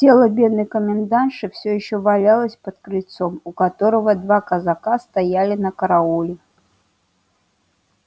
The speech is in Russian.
тело бедной комендантши всё ещё валялось под крыльцом у которого два казака стояли на карауле